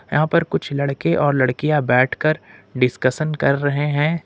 यहां पर कुछ लड़के और लड़कियां बैठकर डिस्कशन कर रहे हैं।